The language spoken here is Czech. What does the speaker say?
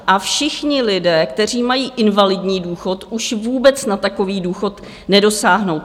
A všichni lidé, kteří mají invalidní důchod, už vůbec na takový důchod nedosáhnou.